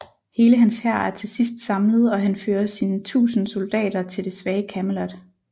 Hele hans hær er til sidst samlet og han fører sine tusinde soldater til det svage Camelot